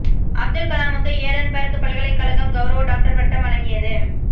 அப்துல் கலாமுக்கு ஏடன்பர்க் பல்கலைக்கழகம் கௌரவ டாக்டர் பட்டம் வழங்கியது